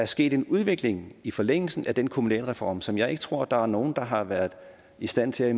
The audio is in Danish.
sket en udvikling i forlængelse af den kommunalreform som jeg ikke tror der er nogen der har været i stand til